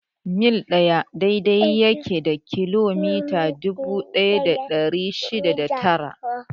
Mil ɗaya daidai yake da kilomita dubu ɗaya da ɗari shida da tara.